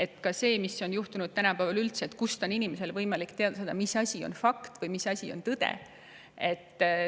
Tänapäeval on juhtunud see, et inimesed, kust on tal üldse võimalik teada saada, mis asi on fakt või mis asi on tõde.